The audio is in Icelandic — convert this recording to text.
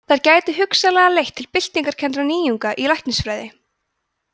þær gætu hugsanlega leitt til byltingarkenndra nýjunga í læknisfræði